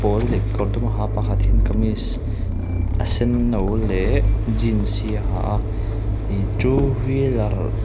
pawl leh kekawr dum a ha a pakhat hian kamis a senno leh jeans hi a ha a ih two wheeler --